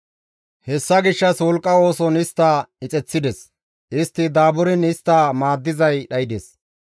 Hessa gishshas wolqqa ooson istta ixeththides; istti daaburiin istta maaddizay dhaydes.